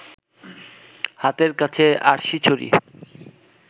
হাতের কাছে আড়শিছড়ি